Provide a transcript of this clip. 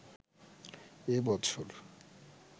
এ বছর